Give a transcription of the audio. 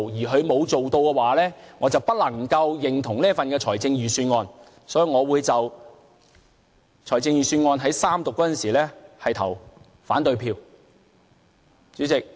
如果不做的話，我便不能認同這份預算案，所以我會在預算案三讀時投反對票。